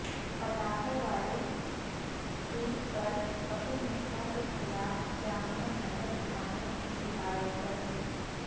پٹاخے والے ٹویٹ پر کپل مشرا کے خلاف جامعہ نگر تھانے میں شکایت درج